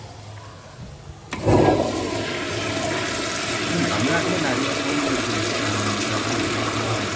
உம் தமிழ்நாட்டிலேயே நிறைய கோவில் இருக்குது ஆஹ் இப்போ எப்படி சொல்றதுன்னா